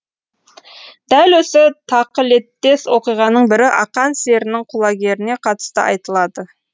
дәл осы тақылеттес оқиғаның бірі ақан серінің құлагеріне қатысты айтылады